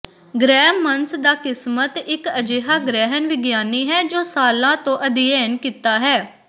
ਗ੍ਰਹਿ ਮੰਸ ਦਾ ਕਿਸਮਤ ਇਕ ਅਜਿਹਾ ਗ੍ਰਹਿਣ ਵਿਗਿਆਨੀ ਹੈ ਜੋ ਸਾਲਾਂ ਤੋਂ ਅਧਿਐਨ ਕੀਤਾ ਹੈ